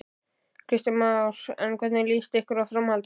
Kristján Már: En hvernig líst ykkur á framhaldið?